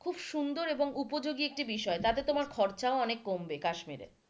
খুব সুন্দর এবং উপযোগী একটি বিষয় তাতে তোমার খরচায় অনেক কমবে কাশ্মীরে,